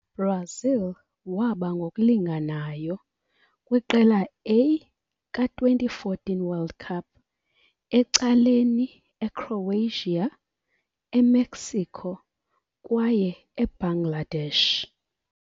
Brazil waba ngokulinganayo! kwi Qela A ka-2014 World Cup, ecaleni Ecroatia, Emexico kwaye Ebangladesh.